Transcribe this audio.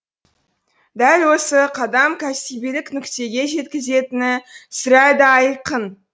дәл осы қадам кәсібилік нүктеге жеткізетіні сірә да айқын